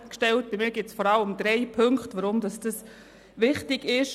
Für mich gibt es vor allem drei Punkte, weshalb dieses Gesetz wichtig ist.